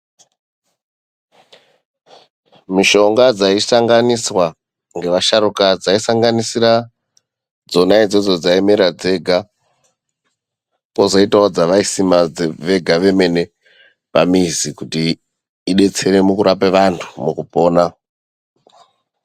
Mishonga dzaisanganiswa ngevasharukwa dzaisanganisira dzonaidzodzo dzaimera dzega pozoitawo dzavaisima vega vemene pamizi kuti ibetsere murarapa vantu mukupona.